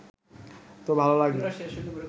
তো ভালো লাগে